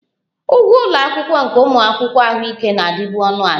Ụgwọ ụlọ akwụkwọ nke ụmụ akwụkwọ ahụike na-adịbu ọnụ ala